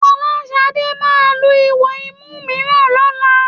Fọláṣadé máa lu ihò imú mìíràn lọ́la